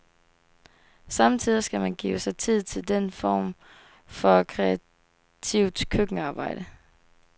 Sommetider skal man give sig tid til den form for kreativt køkkenarbejde.